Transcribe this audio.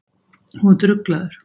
Þú ert ruglaður!